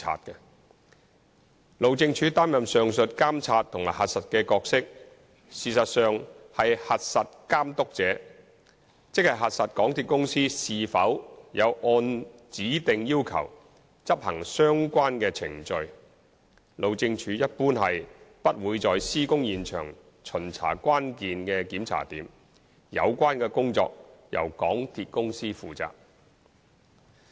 但是，由於路政署擔任上述監察和核實的角色，實質上是"核實監督者"，即核實港鐵公司是否有按指定要求執行相關的程序；路政署一般是不會在施工現場巡查關鍵檢查點，有關工作由港鐵公司負責。